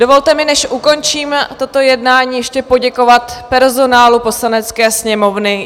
Dovolte mi, než ukončím toto jednání, ještě poděkovat personálu Poslanecké sněmovny.